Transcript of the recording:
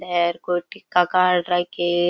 है कोई टीका काड रखे है।